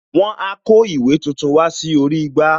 Wọn a kó ìwé tuntun wá sórí igbá